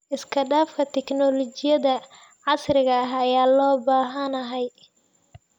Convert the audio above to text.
Isku dhafka tignoolajiyada casriga ah ayaa loo baahan yahay.